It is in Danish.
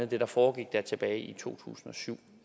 det der foregik tilbage i to tusind og syv